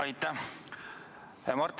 Aitäh!